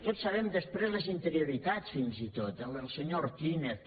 tots sabem després les interioritats fins i tot el senyor ortínez